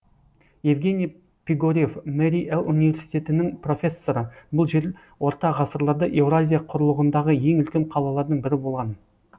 евгений пигорев мари эл университетінің профессоры бұл жер орта ғасырларда еуразия құрлығындағы ең үлкен қалалардың бірі болған